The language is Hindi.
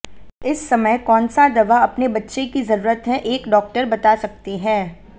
इस समय कौन सा दवा अपने बच्चे की जरूरत है एक डॉक्टर बता सकते हैं